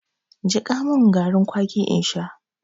Jiƙa mun garin kwaki in sha!